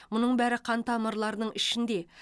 мұның бәрі қан тамырларының ішінде